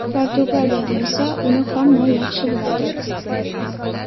Portugaliyada esa uni hamma yaxshi biladi.